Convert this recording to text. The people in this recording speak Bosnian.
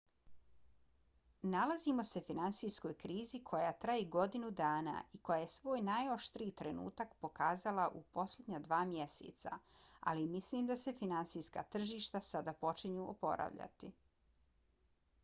nalazimo se finansijskoj krizi koja traje godinu dana i koja je svoj najoštriji trenutak pokazala u posljednja dva mjeseca ali mislim da se finansijska tržišta sada počinju oporavljati.